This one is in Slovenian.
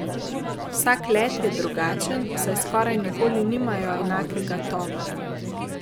Vsak let je drugačen, saj skoraj nikoli nimajo enakega tovora.